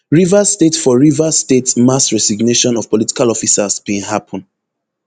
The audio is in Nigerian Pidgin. rivers state for rivers state mass resignation of political officers bin happun